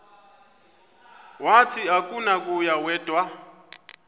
wathi akunakuya wedw